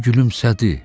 O gülümsədi.